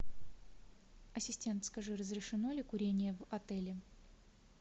ассистент скажи разрешено ли курение в отеле